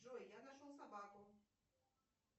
джой я нашел собаку